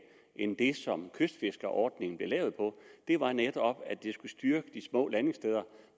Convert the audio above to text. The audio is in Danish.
end det som kystfiskerordningen blev lavet på det var netop at det skulle styrke de små landingssteder